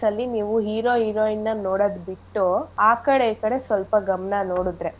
ನೀವು hero heroin ನ ನೋಡದ್ ಬಿಟ್ಟು ಆಕಡೆ ಈಕಡೆ ಸ್ವಲ್ಪ ಗಮನ ನೋಡುದ್ರೆ.